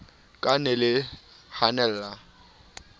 ka le ne le hanella